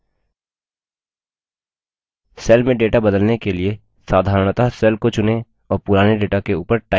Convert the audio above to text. cell में data बदलने के लिए साधारणतः cell को चुनें और पुराने data के ऊपर type करें